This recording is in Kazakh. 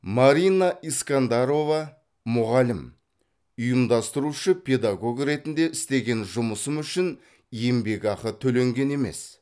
марина искандарова мұғалім ұйымдастырушы педагог ретінде істеген жұмысым үшін еңбекақы төленген емес